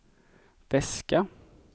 väska